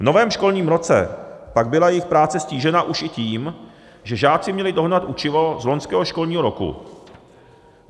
V novém školním roce pak byla jejich práce ztížena už i tím, že žáci měli dohnat učivo z loňského školního roku.